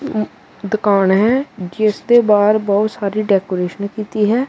ਐ ਦੁਕਾਨ ਹੈ ਜਿਸ ਦੇ ਬਾਹਰ ਬਹੁਤ ਸਾਰੀ ਡੈਕੋਰੇਸ਼ਨ ਕੀਤੀ ਹੈ।